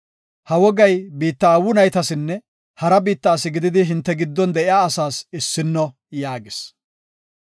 Ha wogay biitta aawu naytasinne hara biitta asi gididi hinte giddon de7iya asaas issino” yaagis.